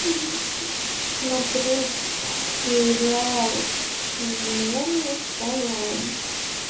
смотреть сериал измены онлайн